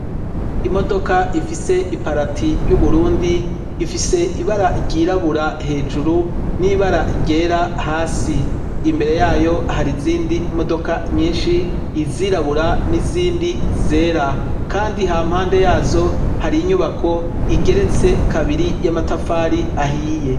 Imodoka ifise iparati y'Uburundi ifise ibara ryirabura hejuru n'ibara ryera hasi. Imbere yayo har'izindi modoka nyishi izirabura n'izindi zera kandi hampande yazo har'inyubako igeretse kabiri y'amatafari ahiye.